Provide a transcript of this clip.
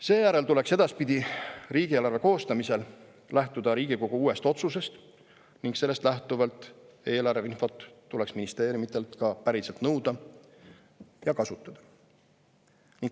Seejärel tuleks edaspidi riigieelarve koostamisel lähtuda Riigikogu uuest otsusest ning sellest lähtuvalt tuleks eelarveinfot ministeeriumidelt ka päriselt nõuda ja kasutada.